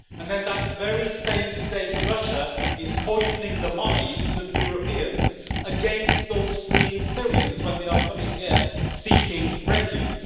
Then, that very same state, Russia, is poisoning the minds of Europeans against those fleeing Syrians when they come here seeking refuge.